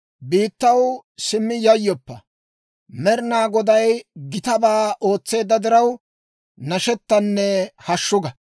Biittaw, simmi yayyoppa; Med'inaa Goday gitabaa ootseedda diraw, nashettanne hashshu ga!